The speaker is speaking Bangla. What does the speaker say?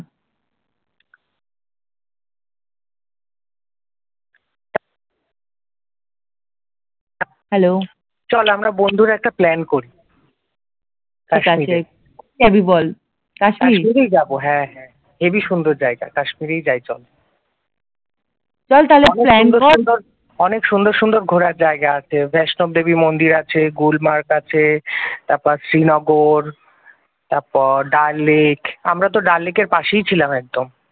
অনেক সুন্দর সুন্দর ঘোরার জায়গা আছে বৈষ্ণব দেবী মন্দির আছে গুলমার্গ আছে তারপর শ্রীনগর তারপর ডাললেক আমরা তো ডাল লেকের পাশেই ছিলাম একদম